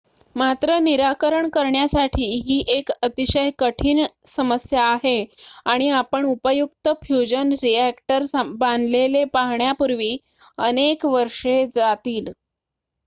मात्र निराकरण करण्यासाठी ही एक अतिशय कठीण समस्या आहे आणि आपण उपयुक्त फ्युजन रिॲक्टर बांधलेले पाहण्यापूर्वी अनेक वर्षे जातील